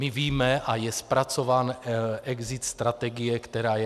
My víme, a je zpracován exit strategie, která je.